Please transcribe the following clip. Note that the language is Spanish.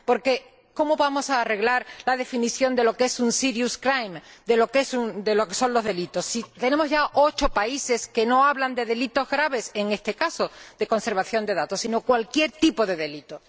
Porque ¿cómo vamos a arreglar la definición de lo que es un de lo que son los delitos, si tenemos ya ocho países que no hablan de delitos graves en este caso de conservación de datos, sino cualquier tipo de delito?